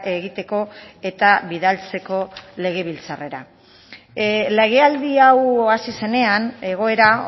egiteko eta bidaltzeko legebiltzarrera legealdi hau hasi zenean egoera